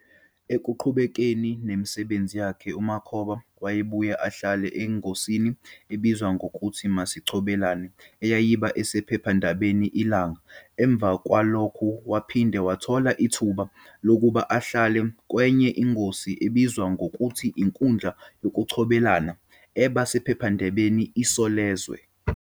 Ekuqhubekeni nemsbenzi yakhe uMakhoba wayebuye abhale engosini ebizwa ngokuthi "Masicobelelane" eyayiba esphephandabeni Ilanga. Emva kwalokhu waphinde wathola ithuba lokuba abhale kwenye ingosi ebizwa ngokuthi "Inkundla Yokucobelelana" eba sephephndabeni Isolezwe.